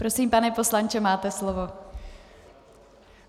Prosím, pane poslanče, máte slovo.